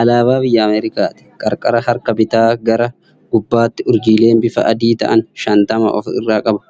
Alaabaa biyya Ameerikaati. Qarqara harka bitaa gara gubbaatti urjiileen bifaan adii ta'an shantama of irraa qaba.